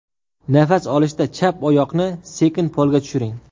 Nafas olishda chap oyoqni sekin polga tushiring.